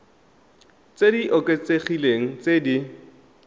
tse di oketsegileng tse di